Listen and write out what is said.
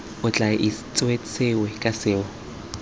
o tla itsesewe ka seo